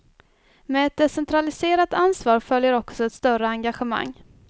Med ett decentraliserat ansvar följer också ett större engagemang.